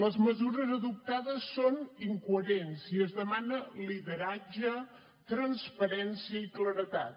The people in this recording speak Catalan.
les mesures adoptades són incoherents i es demana lideratge transparència i claredat